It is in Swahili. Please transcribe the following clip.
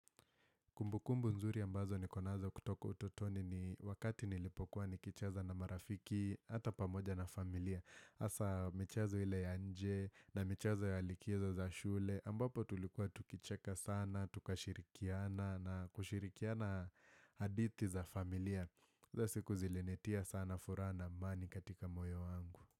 Kumbukumbu nzuri ambazo niko nazo kutoka utotoni ni wakati nilipokuwa nikicheza na marafiki hata pamoja na familia. Hasa michezo ile ya nje na michezo ya likizo za shule. Ambapo tulikuwa tukicheka sana, tukashirikiana na kushirikiana hadithi za familia. Hizo siku zilinitia sana furaha na amani katika moyo wangu.